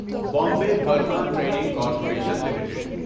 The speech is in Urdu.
Bombay Burma trading corporation limited